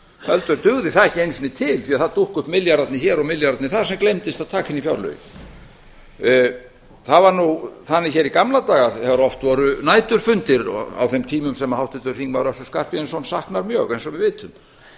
heldur dugði það ekki einu sinni til því að það dúkka upp milljarðarnir hér og milljarðarnir þar sem gleymdist að taka inn í fjárlögin það var þannig hér í gamla daga þegar oft voru næturfundir á þeim tímum sem háttvirtur þingmaður össur skarphéðinsson saknar mjög eins og við vitum